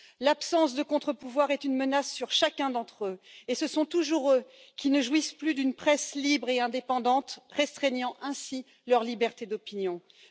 L'absence de contre pouvoir est une menace sur chacun d'entre eux, et ce sont toujours eux qui ne jouissent plus d'une presse libre et indépendante, voyant ainsi leur liberté d'opinion restreinte.